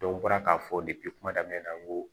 n bɔra k'a fɔ kuma daminɛ na n ko